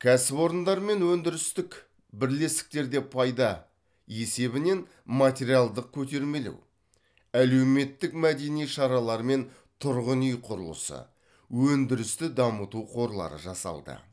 кәсіпорындар мен өндірістік бірлестіктерде пайда есебінен материалдық көтермелеу әлеуметтік мәдени шаралар мен тұрғын үй құрылысы өндірісті дамыту қорлары жасалды